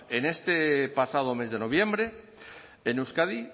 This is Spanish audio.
en este pasado mes de noviembre en euskadi